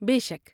بے شک!